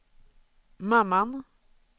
mamman